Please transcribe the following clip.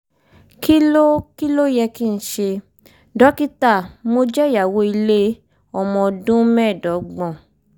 kí ló kí ló yẹ kí n ṣe? dókítà mo jẹ́ ìyàwó ilé ọmọ ọdún mẹ́ẹ̀ẹ́dọ́gbọ̀n